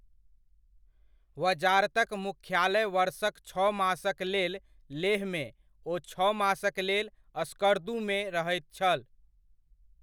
वजारतक मुख्यालय वर्षक छओ मासक लेल लेहमे ओ छओ मासक लेल स्कर्दूमे रहैत छल।